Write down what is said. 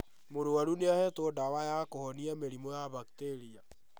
Mũrwaru nĩahetwo ndawa ya kũhonia mĩrimũ ya mbakteria